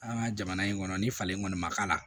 An ka jamana in kɔnɔ ni falen kɔni ma k'a la